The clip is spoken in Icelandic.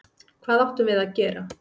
Hvað áttum við að gera?